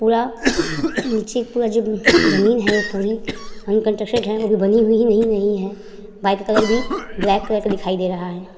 पूरा नीचे की पूरा जो जमीन है वो पूरी अनकंट्रस्टेड है वो भी बनी हुई नहीं नहीं है। बाइक का कलर भी ब्लैक कलर का दिखाई दे रहा है।